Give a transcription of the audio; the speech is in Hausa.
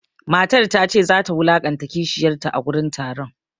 Matar ta ce za ta wulaƙanta kishiyanta a gurin taron.